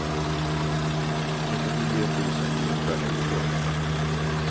trettionio tusen niohundratjugotre